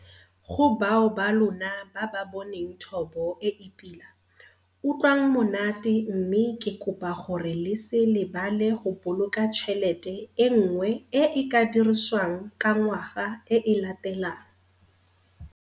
Go bao ba lona ba ba boneng thobo e e pila - utlwang monate mme ke kopa gore le se lebale go boloka tšhelete e nngwe e e ka dirisiwang ka ngwaga e e latelang.